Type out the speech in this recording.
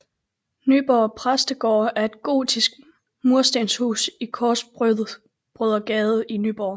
Nyborg Præstegård er et gotisk murstenhus i Korsbrødregade i Nyborg